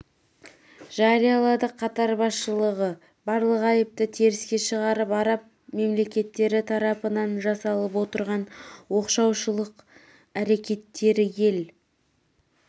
жариялады қатар басшылығы барлық айыпты теріске шығарып араб мемлекеттері татапынан жасалып отырған оқшаулаушылық әрекеттерді ел